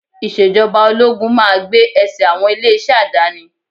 Ìṣèjọba ológun máa gbé ẹsẹ̀ àwọn ilé-iṣẹ́ àdáni